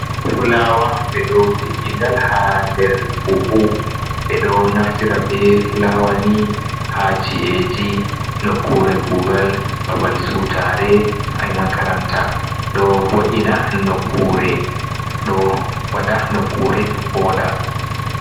Fulawa ɓeɗo tiggingal ha nder buhu ɓeɗo naftira be fulawani ha chi’eji, nokkure kugal, babal siwtare, haimakaranta ɗo vo’ina nokkure ɗo waɗa nokkure voɗa.